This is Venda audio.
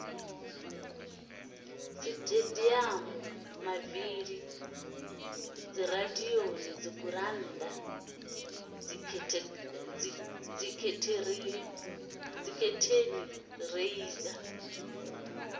sitediamu mavili dziradio dzigurannda dzikhethenireiza